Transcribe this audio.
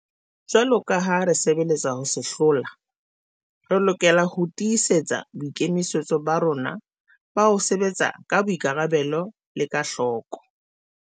Jwaloka ha re sebeletsa ho se hlola, re lokela ho tii setsa boikemisetso ba rona ba ho sebetsa ka boikarabelo le ka hloko.